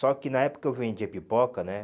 Só que na época que eu vendia pipoca, né?